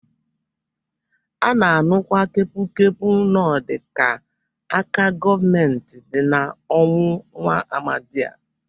A na-anụkwa kepụkepu n'ọdị k'aka gọọmenti dị n'ọnwụ nwa amadị a.